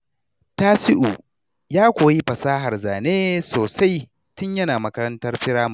Tasiu ya koyi fasahar zane sosai tun yana makarantar firamare.